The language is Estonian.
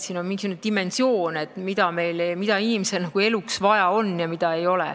Siin on selline dimensioon, et mida inimesel eluks vaja on ja mida ei ole.